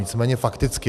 Nicméně fakticky.